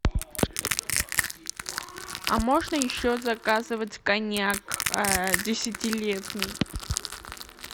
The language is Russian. а можно еще заказывать коньяк десятилетний